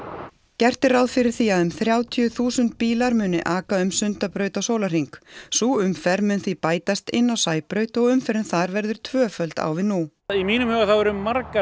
gert er ráð fyrir því að um þrjátíu þúsund bílar muni aka um Sundabraut á sólarhring sú umferð mun því bætast inn á Sæbraut og umferðin þar verður tvöföld á við nú að mínu mati eru margar